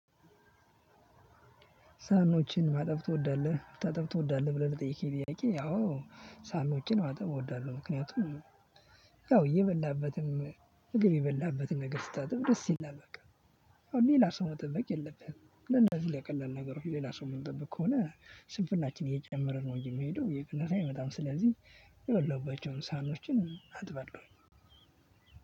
ሳህኖችን ማጠብ ትወዳለህ ማጠብ ትወዳለህ ብሎ ተጠይቄ ጥያቄ? አዎ ሳህኖችን ማጠብ እወዳለሁ ምክንያቱም ያው እየበላህበትም ምግብ የበላህበትን ነገር ስታጥብ ደስ ይላል። በቃ ሌላ ሰው መጠበቅ የለብህም። ለነዚህ ለቀላል ነገሮች ሌላ ሰው ምንጠብቅ ከሆነ ስንፍናችን እየጨመርን ነው እንጂ የሚሄደው እየቀነሰ አይመጣም። ስለዚህ የበለህባቸውን ሳህኖችን አጥባለሁኝ።